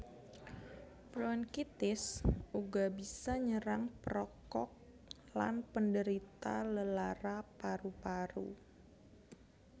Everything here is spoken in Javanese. Bronkitis uga bisa nyerang perokok lan penderita lelara paru paru